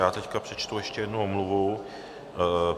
Já teď přečtu ještě jednu omluvu.